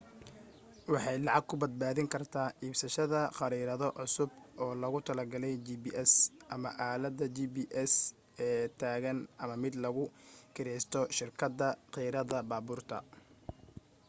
waxay lacag ku badbaadin kartaa iibsasashada khariirado cusub oo loogu tala galayu gps,ama aaladda gps ee taagan ama mid lagu kireysto shirkada kirada baabuurta